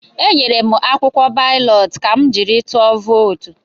Enyere m akwụkwọ balọt ka m jiri tụọ vootu.